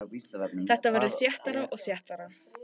Þetta verður þéttara og þéttara.